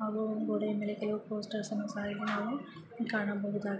ಹಾಗು ಗೋಡೆಯ ಮೇಲೆ ಕೆಲವು ಪೋಸ್ಟರ್ಸ್ ಅನ್ನು ಸಹ ಇಲ್ಲಿ ನಾವು ಕಾಣಬಹುದಾಗಿದೆ.